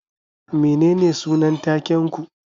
Menene sunan taken ku?